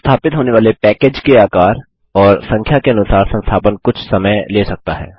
संस्थापित होने वाले पैकेड के आकार और संख्या के अनुसार संस्थापन कुछ समय ले सकता है